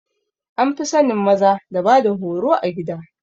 An fi sanin maza da bada horo a gida